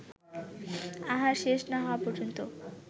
আহার শেষ না হওয়া পর্যন্ত